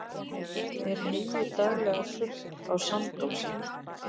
er heyið daglega þurrt á sandósi